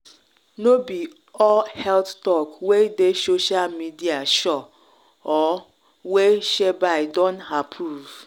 no be all health talk wey dey social media sure or wey shelby don approve